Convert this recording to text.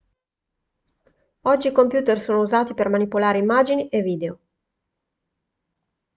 oggi i computer sono usati per manipolare immagini e video